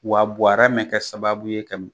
Wa Buwara mɛ ka sababu ye ka